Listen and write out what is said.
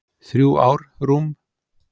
Þrjú ár, rúm